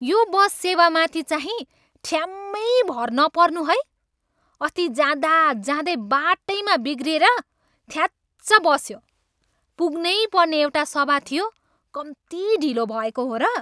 यो बस सेवामाथि चाहिँ ठ्याम्मै भर नपर्नू है। अस्ति जाँदाजाँदै बाटैमा बिग्रिएर थ्याच्च बस्यो। पुग्नैपर्ने एउटा सभा थियो, कम्ती ढिलो भएको हो र!